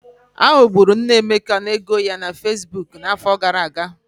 Ha ghọgburu nne Emeka n'ego ya na Fesbuk n'afọ gara aga.